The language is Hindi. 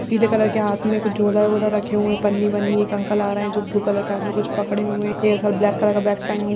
पीले कलर के हाथ में एक झोला-वोला रखे हुए पनी बनी एक अंकल आ रहे हैं जो ब्लू कलर हाथ में कुछ पड़े हुए एक ब्लैक कलर का बैग टंगा --